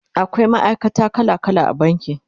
akwai ma'aikata kala kala a banki